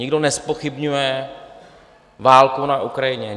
Nikdo nezpochybňuje válku na Ukrajině.